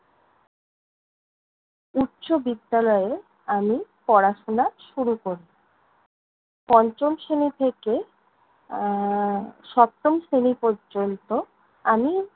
উচ্চবিদ্যালয়ে আমি পড়াশোনা শেষ শুরু করছি। পঞ্চম শ্রেণী থেকে আহ সপ্তম শ্রেণী পর্যন্ত আমি